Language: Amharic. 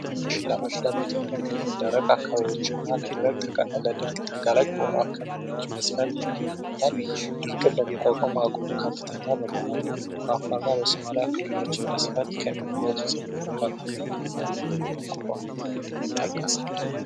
ማሽላ ለኢትዮጵያ በብዛት በሆኑ አካባቢዎች ላይና ለድርቅ ተጋላጭ የሆኑ አካባቢዎች በስፋት ይመረጣል ድርቅን የመቋቋም አቅም ከፍተኛ በመሆኑ በአፈርና በሶማሊያ ክልሎችም በስፋት ከሚመረጡ ሰብሎች መካከል ነው አንደኛ በመሆን ይጠቀሳል።